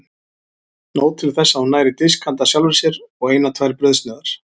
Nóg til þess að hún nær í disk handa sjálfri sér og eina tvær brauðsneiðar.